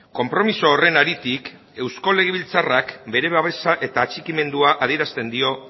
konpromiso horren haritik eusko legebiltzarrak bere babesa eta atxikimendua adierazten dio